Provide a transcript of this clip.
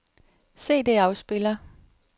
CD-afspiller